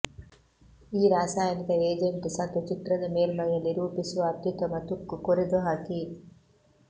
ಈ ರಾಸಾಯನಿಕ ಏಜೆಂಟ್ ಸತು ಚಿತ್ರದ ಮೇಲ್ಮೈಯಲ್ಲಿ ರೂಪಿಸುವ ಅತ್ಯುತ್ತಮ ತುಕ್ಕು ಕೊರೆದುಹಾಕಿ